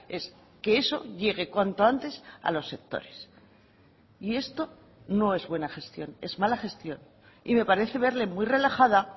es que eso llegue cuanto antes a los sectores y esto no es buena gestión es mala gestión y me parece verle muy relajada